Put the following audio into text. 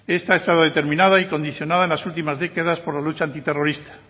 esta estaba determinada y condicionada en las últimas décadas por la lucha antiterrorista